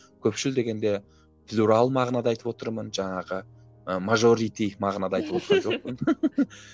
көпшіл дегенде плюрал мағынада айтып отырмын жаңағы мажорити мағынада айтып отырған жоқпын